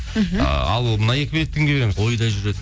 мхм ыыы ал мына екі билетті кімге береміз ойда жүреді